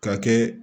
Ka kɛ